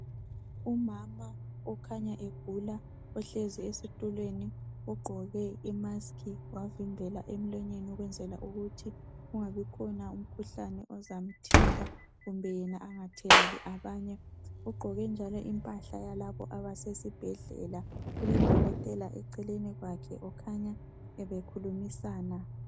Umama okhanya egula uhlezi esitulweni ugqoke imaski wavimbela emlonyeni ukwenzela ukuthi kungabi khona umkhuhlane ozamthinta kumbe yena engatheleli abanye ugqoke njalo impahla yalabo abasesibhedlela kulodokotela eceleni kwakhe kukhanya bebekhulumisana.